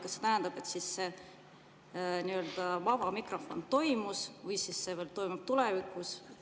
Kas see tähendab seda, et siis see vaba mikrofon toimus või et see veel toimub tulevikus?